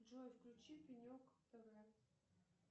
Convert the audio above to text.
джой включи пенек тв